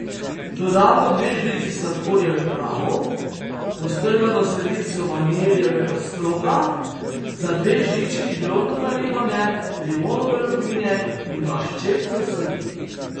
Dodamo dve žlici sladkorja v prahu, postrgano sredico vaniljevega stroka, za dve žlički drobno naribane limonove lupine in dva ščepca soli.